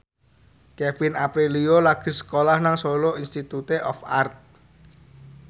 Kevin Aprilio lagi sekolah nang Solo Institute of Art